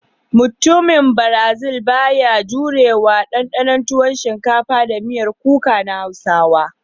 Mutumin "brazil" ba ya da jumrewa dandana tuwon shinkafa da miyan kuka na Hausawa.